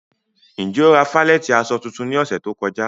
Njẹ́ o ra falẹ̀tí aṣọ títún ní òṣè tó kọ̀já?